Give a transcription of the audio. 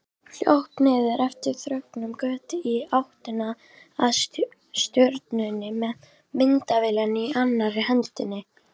Hljóp niður eftir þröngri götu í áttina að ströndinni með myndavélina í annarri hendinni.